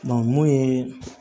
mun ye